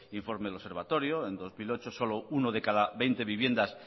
informe del observatorio en dos mil ocho solo uno de cada veinte viviendas